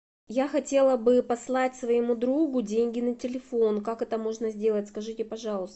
я хотела бы послать своему другу деньги на телефон как это можно сделать скажите пожалуйста